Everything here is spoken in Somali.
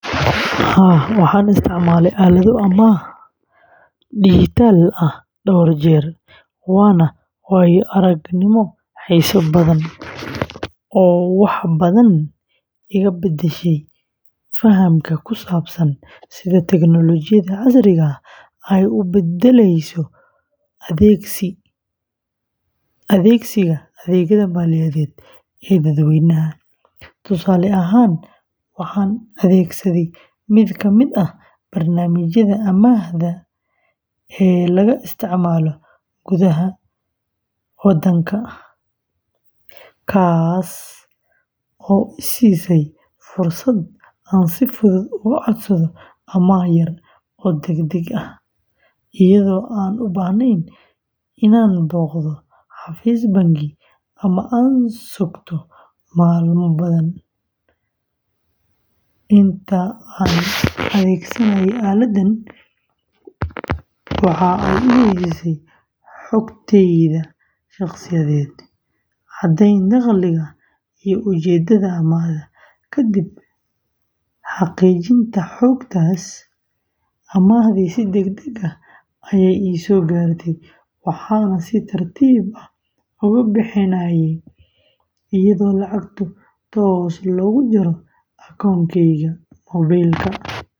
Haa, waxaan isticmaalay aalado amaah dijitaal ah dhowr jeer, waana waayo-aragnimo xiiso badan oo wax badan iga beddeshay fahamkayga ku saabsan sida teknoolojiyadda casriga ah ay u beddelayso adeegsiga adeegyada maaliyadeed ee dadweynaha. Tusaale ahaan, waxaan adeegsaday mid ka mid ah barnaamijyada amaahda ee laga isticmaalo gudaha wadanka, kaas oo i siiyay fursad aan si fudud uga codsado amaah yar oo degdeg ah, iyadoo aanan u baahnayn inaan booqdo xafiis bangi ama aan sugto maalmo badan. Inta aan adeegsanayay aaladdan, waxa ay i weydiisay xogtayda shakhsiyeed, caddeyn dakhliga, iyo ujeedada amaahda. Kadib xaqiijinta xogtaas, amaahdii si degdeg ah ayay ii soo gaartay, waxaana si tartiib ah uga bixinayay iyadoo lacagtu toos looga jaro akoonkayga moobilka.